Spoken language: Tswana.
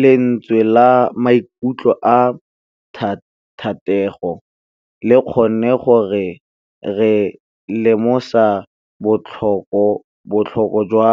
Lentswe la maikutlo a Thategô le kgonne gore re lemosa botlhoko jwa